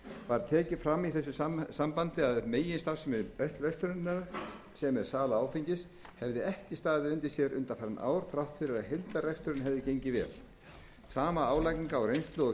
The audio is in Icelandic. var tekið fram í þessu sambandi að meginstarfsemi verslunarinnar sem er sala áfengis hefði ekki staðið undir sér undanfarin ár þrátt fyrir að heildarreksturinn hefði gengið vel sama álagning á reynslu og